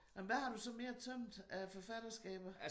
Nåh men hvad har du så mere tømt af forfatterskaber?